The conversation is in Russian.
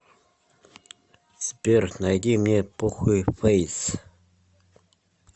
сбер найди мне похуй фэйс